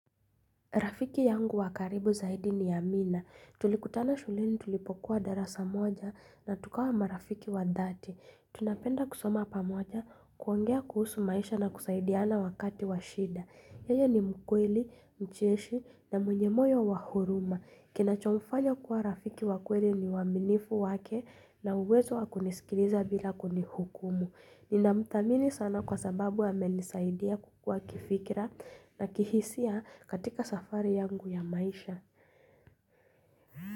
Rafiki yangu wakaribu zaidi ni amina. Tulikutana shuleni tulipokuwa darasa moja na tukawa marafiki wa dhati. Tunapenda kusoma pamoja, kuongea kuhusu maisha na kusaidiana wakati washida. Yeye ni mkweli, mcheshi na mwenye moyo wa huruma. Kina cho mfanya kuwa rafiki wakweli ni waaminifu wake na uwezo wakunisikiliza bila kunihukumu. Nina mthamini sana kwa sababu amenisaidia kukua kifikira na kihisia katika safari yangu ya maisha.